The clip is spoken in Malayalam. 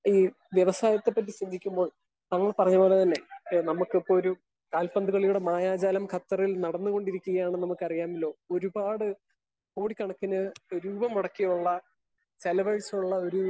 സ്പീക്കർ 1 ഈ വ്യവസായത്തെ പറ്റി ചിന്തിക്കുമ്പോൾ നമ്മള് പറഞ്ഞ പോലെ തന്നെ നമുക്കിപ്പോ ഒരു കാൽപന്ത് കളിയുടെ മായാജാലം ഖത്തറിൽ നടന്നു കൊണ്ടിരിക്കുകയാണ് നമുക്ക് അറിയാമല്ലോ? ഒരുപാട് കോടി ക്കണക്കിന് രൂപ മുടക്കിയുള്ള ചിലവഴിച്ചിട്ടുള്ള ഒരു